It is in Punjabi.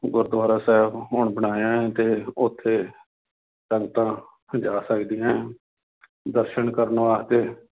ਗੁਰੂਦੁਆਰਾ ਸਾਹਿਬ ਹੁਣ ਬਣਾਇਆ ਹੈ ਤੇ ਉੱਥੇ ਸੰਗਤਾਂ ਜਾ ਸਕਦੀਆਂ ਹੈ ਦਰਸਨ ਕਰਨ ਵਾਸਤੇ